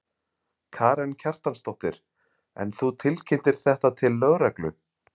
Karen Kjartansdóttir: En þú tilkynntir þetta til lögreglu?